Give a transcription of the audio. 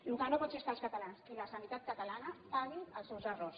el que no pot ser és que els catalans i la sanitat catalana paguin els seus errors